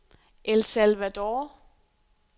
El Salvador